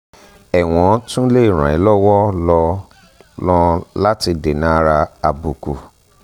ẹ̀wọ́n tún lè ràn ẹ́ lọ́wọ́ lọ́ lọ́n láti dènàárà àbùkù